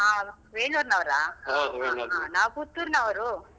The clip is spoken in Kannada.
ಹ ವೇಣೂರ್ನವ್ರಾ? ನಾವ್ ಪುತ್ತೂರ್ನವ್ರು.